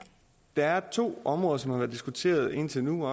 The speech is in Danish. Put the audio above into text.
der er to områder som har været diskuteret indtil nu